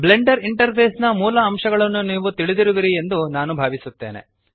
Blender interface ನ ಮೂಲ ಅಂಶಗಳನ್ನು ನೀವು ತಿಳಿದಿರುವಿರಿ ಎಂದು ನಾನು ಭಾವಿಸುತ್ತೇನೆ